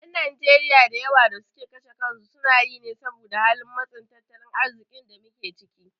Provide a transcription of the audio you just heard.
Ƴan Najeriya da yawa da suke kashe kansu sunayi ne saboda halin matsin tattalin arziƙin da muke ciki.